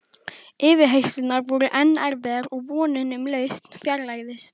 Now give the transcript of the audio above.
Yfirheyrslurnar voru enn erfiðar og vonin um lausn fjarlægðist.